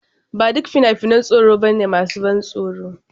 Ba duk fina-finan tsoro ba ne masu ban tsoro.